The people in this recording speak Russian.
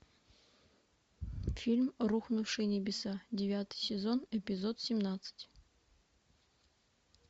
фильм рухнувшие небеса девятый сезон эпизод семнадцать